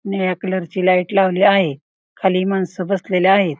निळ्या कलर ची लाइट लावली आहे खाली माणस बसलेली आहेत.